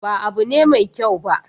Ba abu ne mai kyau ba.